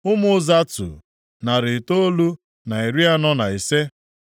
Ụmụ Zatu, narị itoolu na iri anọ na ise (945).